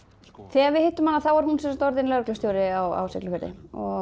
þegar við hittum hana er hún orðin lögreglustjóri á Siglufirði